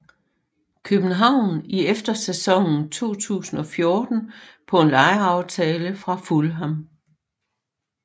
København i efterårssæsonen 2014 på en lejeaftale fra Fulham